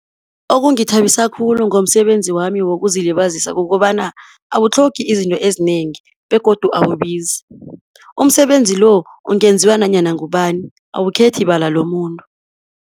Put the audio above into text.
Okungithabisa khulu ngomsebenzi wami wokuzilibazisa, kukobana awutlhogi izinto ezinengi, begodu awubizi. Umsebenzi lo, ungenziwa nanyana ngubani, awukhethi bala lomuntu.